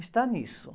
está nisso.